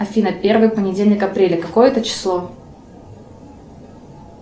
афина первый понедельник апреля какое это число